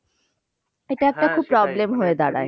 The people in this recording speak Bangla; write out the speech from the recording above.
এটা একটা খুব problem হয়ে দাঁড়ায়।